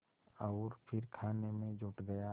और फिर खाने में जुट गया